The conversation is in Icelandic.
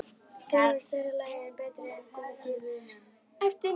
Þeir voru í stærra lagi en betri en gúmmí- stígvélin.